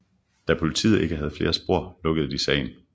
Da politiet ikke havde flere spor lukkede de sagen